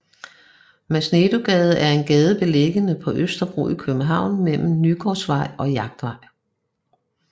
Masnedøgade er en gade beliggende på Østerbro i København mellem Nygårdsvej og Jagtvej